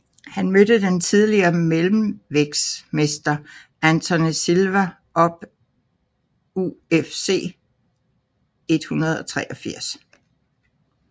Han mødte den tidligere mellemvægtsmester Anderson Silva op UFC 183